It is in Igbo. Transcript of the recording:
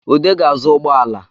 Ude ga-azụ ụgbọala